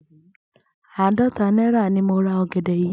Àádó̩ta náírà ni mo ra ò̩gè̩dè̩ yìí